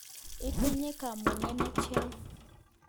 Itinye kamuget netian?